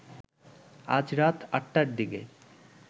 আজ রাত আটটার দিকে